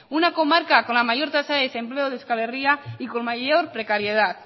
una comarca con la mayor tasa de desempleo de euskal herria y con mayor precariedad